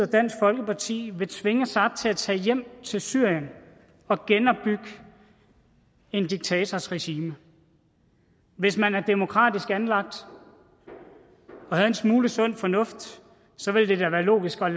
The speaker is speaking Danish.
dansk folkeparti vil tvinge saad til at tage hjem til syrien og genopbygge en diktators regime hvis man er demokratisk anlagt og har en smule sund fornuft ville det da være logisk at